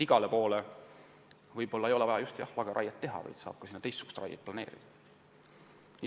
Igal pool ei ole vaja teha lageraiet, saab ka teistsugust raiet planeerida.